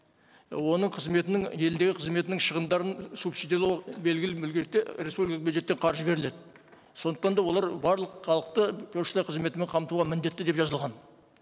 і оның қызметінің елдегі қызметінің шығымдарын субсидиялау белгілі республикалық бюджеттен қаржы беріледі сондықтан да олар барлық халықты пошта қызметімен қамтуға міндетті деп жазылған